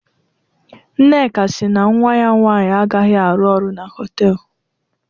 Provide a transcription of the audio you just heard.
Nneka si na nnwa ya nwaanyị agaghị arụ ọrụ na họtel.